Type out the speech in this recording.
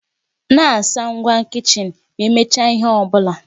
Na-asa ngwá kichin ma emechaa nke ọ bụla.